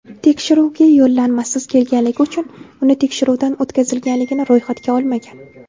tekshiruvga yo‘llanmasiz kelganligi uchun uni tekshiruvdan o‘tkazilganligini ro‘yxatga olmagan.